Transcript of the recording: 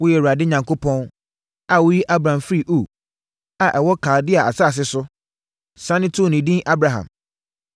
“Woyɛ Awurade Onyankopɔn a woyii Abram firii Ur a ɛwɔ Kaldea asase so, sane too no edin Abraham.